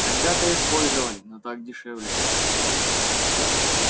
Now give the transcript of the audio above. когда-то использовали но так дешевле